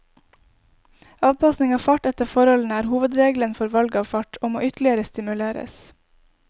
Avpasning av fart etter forholdene er hovedregelen for valg av fart, og må ytterligere stimuleres.